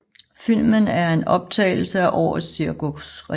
Filmen er en optagelse af årets cirkusrevy